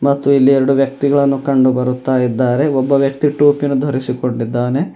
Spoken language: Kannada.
ಮತ್ತು ಇಲ್ಲಿ ಎರಡು ವ್ಯಕ್ತಿಗಳನ್ನು ಕಂಡು ಬರುತ್ತಾಇದ್ದಾರೆ ಒಬ್ಬ ವ್ಯಕ್ತಿ ಟೋಪಿಯನ್ನು ಧರಸಿ ಕೊಂಡಿದ್ದಾನೆ.